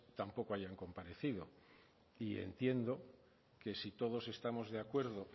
tampoco hayan comparecido y entiendo que si todos estamos de acuerdo